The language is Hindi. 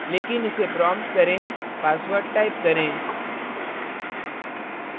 लेकिन इसे prompted करें password type करें